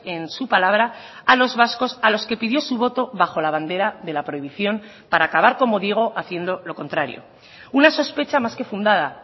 en su palabra a los vascos a los que pidió su voto bajo la bandera de la prohibición para acabar como digo haciendo lo contrario una sospecha más que fundada